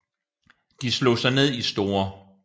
De slog sig ned i St